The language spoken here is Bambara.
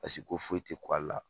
Paseke ko foyi ti ku ale la